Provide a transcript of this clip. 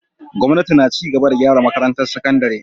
Gwamnati na ci gaba da gyara makarantar sakandare.